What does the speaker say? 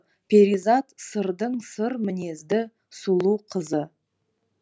перизат сырдың сыр мінезді сұлу қызы